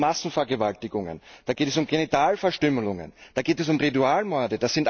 Da geht es um Massenvergewaltigungen, da geht es um Genitalverstümmelungen, da geht es um Ritualmorde.